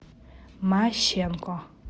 мащенко